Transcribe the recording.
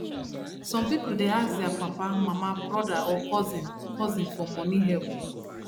some people dey ask their papa mama brother or cousin cousin for money help